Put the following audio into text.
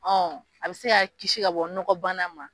Ɔn a be se ka kisi ka bɔ nɔgɔ bana ma